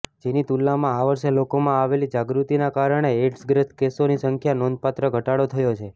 જેની તુલનામાં આ વર્ષે લોકોમાં આવેલી જાગૃત્તિના કારણે એઈડ્સગ્રસ્ત કેસોની સંખ્યામાં નોંધપાત્ર ઘટાડો થયો છે